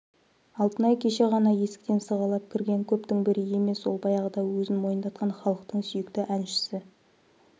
алтынай кеше ғана есіктен сығалап кірген көптің бірі емес ол баяғыда өзін мойындатқан халықтың сүйікті әншісі